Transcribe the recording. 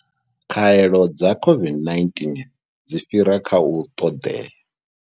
Khaelo dza COVID-19 dzi fhira kha u ṱoḓea.